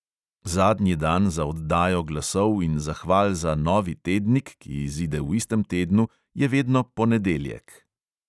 Zadnji dan za oddajo glasov in zahval za novi tednik, ki izide v istem tednu, je vedno ponedeljek!